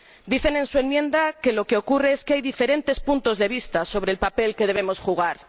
Dicen en su enmienda que lo que ocurre es que hay diferentes puntos de vista sobre el papel que debemos jugar.